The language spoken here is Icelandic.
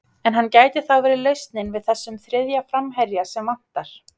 En hann gæti þá verið lausnin við þessum þriðja framherja sem vantar?